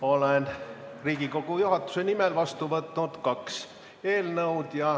Olen Riigikogu juhatuse nimel vastu võtnud kaks eelnõu.